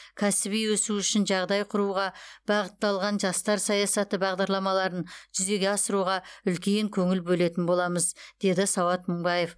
кәсіби өсуі үшін жағдай құруға бағытталған жастар саясаты бағдарламаларын жүзеге асыруға үлкен көңіл бөлетін боламыз деді сауат мыңбаев